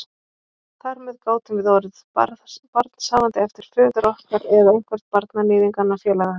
Þar með gátum við orðið barnshafandi eftir föður okkar eða einhvern barnaníðinganna, félaga hans.